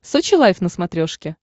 сочи лайф на смотрешке